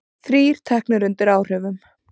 Þrír teknir undir áhrifum